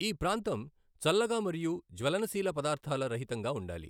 ఈ ప్రాంతం చల్లగా మరియు జ్వలనశీల పదార్థాల రహితంగా ఉండాలి.